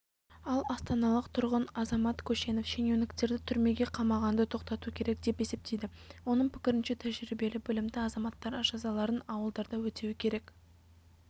ал астаналық тұрғын азамат көшенов шенеуніктерді түрмеге қамағанды тоқтату керек деп есептейді оның пікірінше тәжірибелі білімді азаматтар жазаларын ауылдарда өтеуі керек